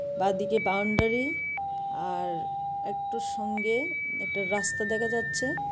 বাঁদিকে বাউন্ডারি আর একটু সঙ্গে একটা রাস্তা দেখা যাচ্ছে।